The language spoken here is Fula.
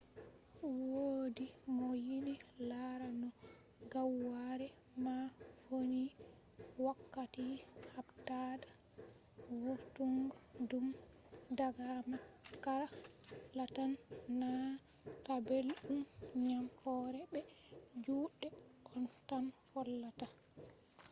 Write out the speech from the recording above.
wodi mo yiɗi lara no gaware man vonni wakkati habdata vurtungo ɗum daga makara lattan nana ta belɗum ngam hore be juɗe on tan hollata